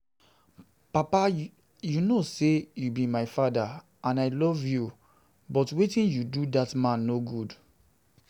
Papa you know say you be my father and I love you but wetin you do dat man no good